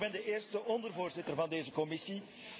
Ik ben de eerste ondervoorzitter van deze commissie.